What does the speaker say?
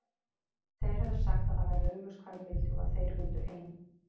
Þeir höfðu sagt að það væri augljóst hvað ég vildi og að þeir vildu ein